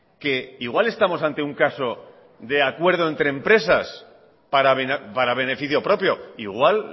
que igual estamos ante un caso de acuerdo entre empresas para beneficio propio igual